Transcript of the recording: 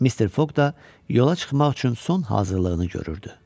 Mister Foq da yola çıxmaq üçün son hazırlığını görürdü.